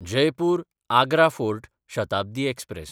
जयपूर–आग्रा fort Shatabdi express